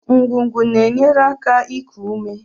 Ngụgụ na-enyere aka iku ume